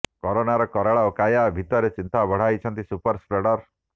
କରୋନାର କରାଳ କାୟା ଭିତରେ ଚିନ୍ତା ବଢ଼ାଉଛନ୍ତି ସୁପର୍ ସ୍ପ୍ରେଡର